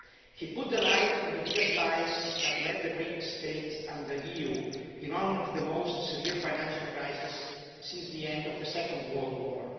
He shed the light on the biggest lies that led the Greek state and the EU into one of the most severe financial crises since the end of the Second World War.